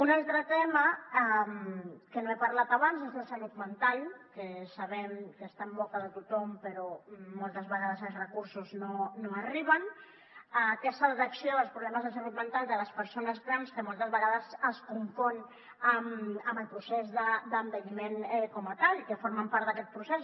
un altre tema de què no he parlat abans és la salut mental que sabem que està en boca de tothom però moltes vegades els recursos no arriben a aquesta detecció dels problemes de salut mental de les persones grans que moltes vegades es confon amb el procés d’envelliment com a tal i que formen part d’aquest procés